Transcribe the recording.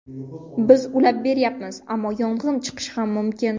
Biz ulab beryapmiz, ammo yong‘in chiqishi ham mumkin.